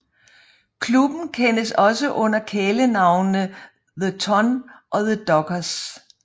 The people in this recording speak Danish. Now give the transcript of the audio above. Klubben kendes også under kælenavnene The Ton og The Dockers